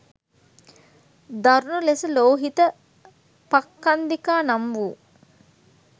දරුණු ලෙස ලෝහිත පක්ඛන්දිකා නම් වූ